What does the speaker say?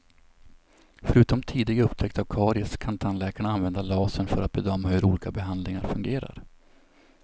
Förutom tidig upptäckt av karies kan tandläkarna använda lasern för att bedöma hur olika behandlingar fungerar.